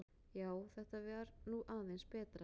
Já, þetta var nú aðeins betra, ha!